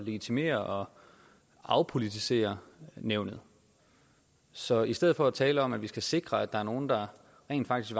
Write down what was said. legitimere og afpolitisere nævnet så i stedet for at tale om at vi skal sikre at der er nogle der rent faktisk